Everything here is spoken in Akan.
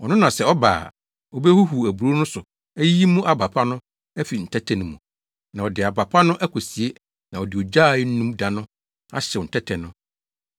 Ɔno na sɛ ɔba a, obehuhuw aburow no so ayiyi mu aba pa no afi ntɛtɛ no mu, na ɔde aba pa no akosie na ɔde ogya a ennum da ahyew ntɛtɛ no.”